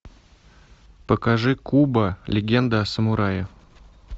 покажи кубо легенда о самурае